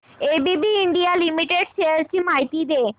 ABB India limited shares ची माहिती दे